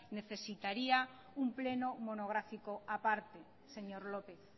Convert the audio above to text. necesitaría un pleno monográfico a parte señor lópez